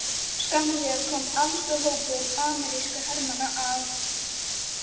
Skömmu síðar kom allstór hópur amerískra hermanna að